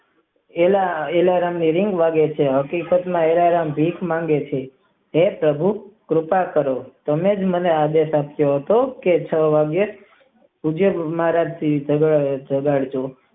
L alarm વાગે છે હકીકત માં આલારામ ભીખ માંગે છે હે પ્રભુ કૃપા કરો તમે જ મને આદત પાડો કે હું છ વાગે મરાઠી જગાઇ.